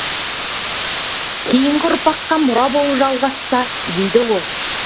кейінгі ұрпаққа мұра болып жалғасса дейді ол